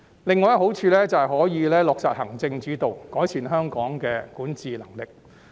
另一個好處是可以落實行政主導，改善香港的管治能力。